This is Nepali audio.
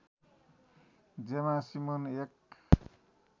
जेमा सिमोन एक